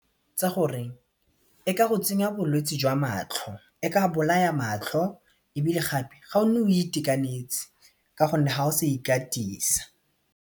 Gore e ka go tsenya bolwetse jwa matlho, e ka bolaya matlho ebile gape ga o nne o itekanetse ka gonne ha o sa ikatisa.